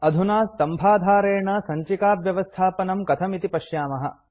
अधुना स्तम्भाधारेण सञ्चिकाव्यवस्थापनं कथम् इति पश्यामः